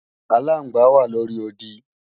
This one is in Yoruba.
Aláǹgbá wà lóri odi